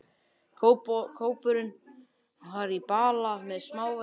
Kópurinn var í bala með smávegis vatni í.